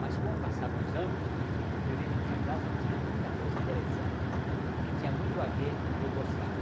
Mas, com o passar dos anos, eu fui ver que o fantasma tinha muita coisa interessante que tinha muito a ver com o que eu gostava.